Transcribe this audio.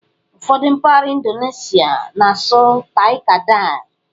Ụfọdụ mpaghara Indoneshịa na-asụ '"Tai-Kadai".